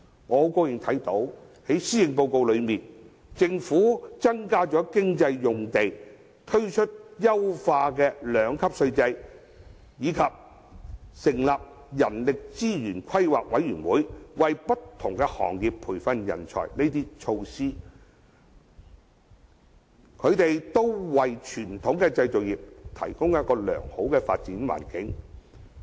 我很高興從施政報告看到，政府增加工業用地，推出優化的兩級稅制，以及成立人力資源規劃委員會，為不同行業培訓人才等措施，均對傳統的製造業提供良好的發展環境。